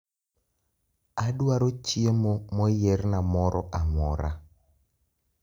Adwaro chiemo moyierna moro amora